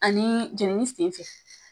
Ani jenini senfɛ